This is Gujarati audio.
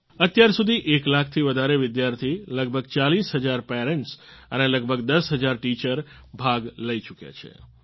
અત્યારસુધી એક લાખ થી વધારે વિદ્યાર્થી લગભગ 40 હજાર પેરન્ટ્સ અને લગભગ 10 હજાર ટીચર ભાગ લઈ ચૂક્યા છે